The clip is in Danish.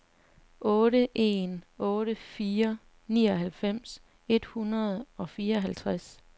otte en otte fire nioghalvfems et hundrede og fireoghalvtreds